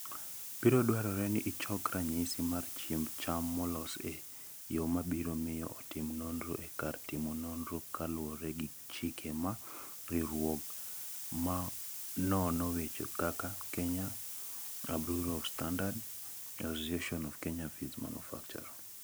Biro dwarore ni ichok ranyisi mar chiemb cham molos e yo ma biro miyo otim nonro e kar timo nonro kaluwore gi chike ma riwruoge ma nono weche kaka: Kenya Bureau of Standards (KEBS), Association of Kenya Feed Manufacturers (AKEFEMA).